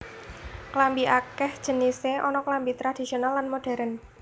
Klambi akèh jenisé ana klambi tradhisional lan modhèrn